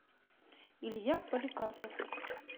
илья поликарпов